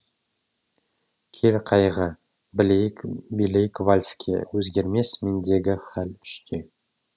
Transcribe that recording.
кел қайғы билейік вальске өзгермес мендегі хәл үште